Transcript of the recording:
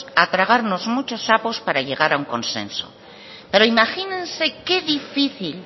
a tragarnos muchos sapos para llegar a un consenso pero imagínense qué difícil